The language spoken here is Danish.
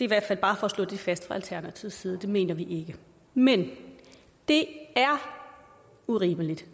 hvert fald bare for at slå det fast fra alternativets side det mener vi ikke men det er urimeligt